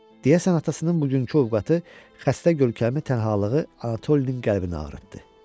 Deyəsən atasının bugünkü ovqatı, xəstə görkəmi, tənhalığı Anatolinin qəlbini ağrıtdı.